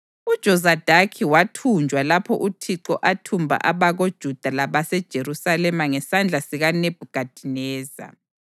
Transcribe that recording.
UJozadaki wathunjwa lapho uThixo athumba abakoJuda labaseJerusalema ngesandla sikaNebhukhadineza.